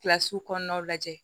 Kilasi kɔnɔnaw lajɛ